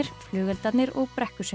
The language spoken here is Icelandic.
flugeldarnir og